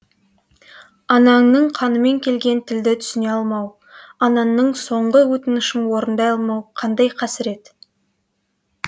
ананыңның қанымен келген тілді түсіне алмау анаңның соңғы өтінішін орындай алмау қандай қасірет